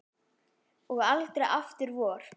Og aldrei aftur vor.